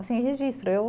Assim, registro